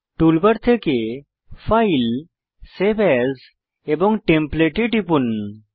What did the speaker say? toolbar থেকে file save as এবং template এ টিপুন